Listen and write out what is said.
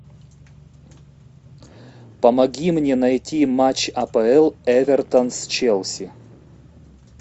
помоги мне найти матч апл эвертон с челси